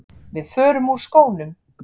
Við förum úr skónum.